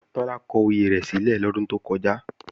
Tọ́lá kọ oyè rẹ̀ sílẹ̀ lọ́dún tó kọjá